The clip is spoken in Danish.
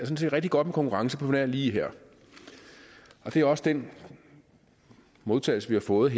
set rigtig godt med konkurrence på nær lige her og det er også den modtagelse vi har fået i